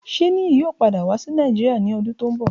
Ṣe Niyi yoo pada wa si Nàìjírìa ni ọdun ti n bọ?